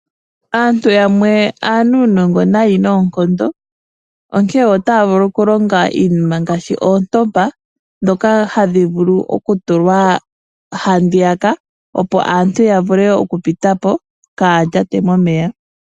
Aantu yamwe aanuunongo nayi noonkondo onkene otaya vulu okulonga iinima ngaashi oontompa ndhoka hadhi vulu okutulwa handiyaka, opo aantu ya vule okupita po kaaya lyate momeya.